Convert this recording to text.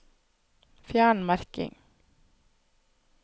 Fjern merking